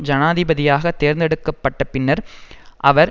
ஜனாதிபதியாக தேர்ந்தெடுக்க பட்ட பின்னர் அவர்